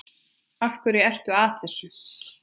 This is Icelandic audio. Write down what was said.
Af hverju ertu að þessu?